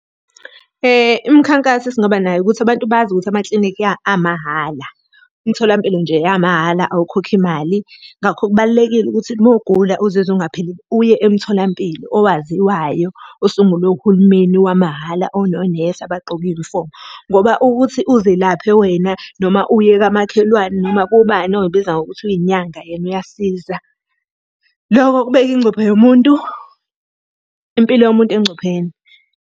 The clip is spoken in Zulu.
Imikhankaso esingaba nayo ukuthi abantu bazi ukuthi amaklinikhi amahhala. Imtholampilo nje iyamahhala awukhokhi mali ngakho kubalulekile ukuthi uma ugula uzizwa ungaphilile uye emtholampilo owaziwayo. Usungulwe uhulumeni wamahhala, ononesi abagqoke iyunifomu. Ngoba ukuthi uzelaphe wena noma uye kamakhelwane, noma kubani oyibiza ngokuthi uy'nyanga yena uyasiza. Loko kubeka ingcuphe yomuntu, impilo yomuntu engcupheni.